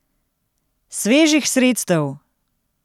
Svežih sredstev!